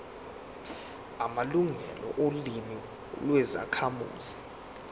amalungelo olimi lwezakhamuzi